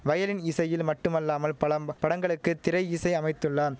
violin இசையில் மட்டுமல்லாமல் பலம் படங்களுக்கு திரை இசை அமைத்துள்ளான்